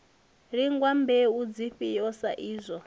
lingwa mbeu dzifhio sa izwo